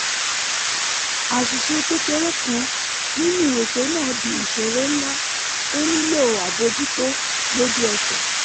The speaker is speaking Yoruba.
àṣìṣe kékeré kan nínú ètò náà di ìṣòro ńlá tó nílò àbójútó lójú ẹsẹ̀